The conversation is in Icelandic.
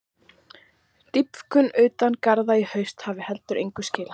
Dýpkun utan garða í haust hafi heldur engu skilað.